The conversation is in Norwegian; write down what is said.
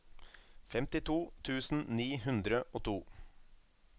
femtito tusen ni hundre og to